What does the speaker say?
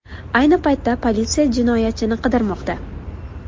Ayni paytda politsiya jinoyatchini qidirmoqda.